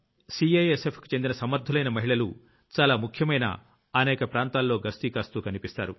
CISF కి చెందిన సమర్ధులైన మహిళలు చాలా ముఖ్యమైన అనేక ప్రాంతాల్లో గస్తీ కాస్తూ కనిపిస్తారు